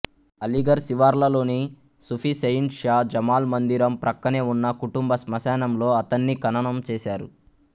అలీఘర్ శివార్లలోని సూఫీ సెయింట్ షా జమాల్ మందిరం ప్రక్కనే ఉన్న కుటుంబ శ్మశానంలో అతన్ని ఖననం చేసారు